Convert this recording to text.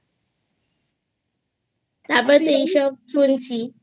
তারপরে তো এইসব শুনছিI